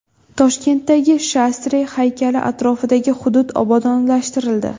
Toshkentdagi Shastri haykali atrofidagi hudud obodonlashtirildi.